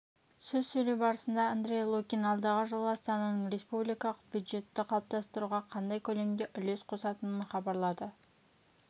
сөз сөйлеу барысында андрей лукин алдағы жылы астананың республикалық бюджетті қалыптастыруға қандай көлемде үлес қосатынын хабарлады